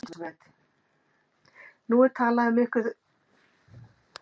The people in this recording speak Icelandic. Elísabet: Nú er talað um að þetta sé barátta, hefur ykkur orðið ágengt í baráttunni?